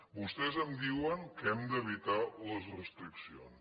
vostès em diuen que hem d’evitar les restriccions